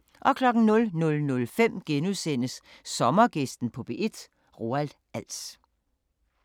00:05: Sommergæsten på P1: Roald Als *